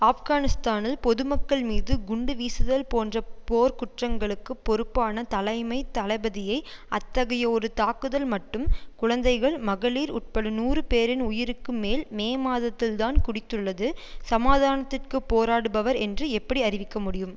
ஆப்கானிஸ்தானில் பொதுமக்கள்மீது குண்டு வீசுதல் போன்ற போர்க்குற்றங்களுக்குப் பொறுப்பான தலைமை தளபதியை அத்தகைய ஒரு தாக்குதல் மட்டும் குழந்தைகள் மகளிர் உட்பட நூறு பேரின் உயிருக்கு மேல் மே மாதத்தில்தான் குடித்துள்ளது சமாதானத்திற்கு போராடுபவர் என்று எப்படி அறிவிக்க முடியும்